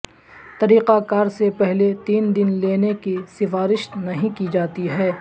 طریقہ کار سے پہلے تین دن لینے کی سفارش نہیں کی جاتی ہے